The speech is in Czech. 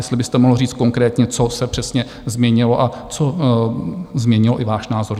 Jestli byste mohl říct konkrétně, co se přesně změnilo a co změnilo i váš názor.